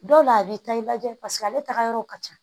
Dɔw la a b'i ta i lajɛ paseke ale taga yɔrɔ ka ca